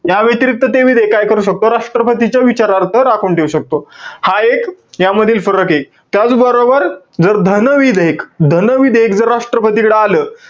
त्याव्यतिरिक्त ते विधेयक काय करू शकतो? राष्ट्रपतीच्या विचारार्थ राखून ठेऊ शकतो. हा एक, यामधील फरके. त्याचबरोबर, जर धन विधेयक, धन विधेयक जर राष्ट्रपतीकडे आलं,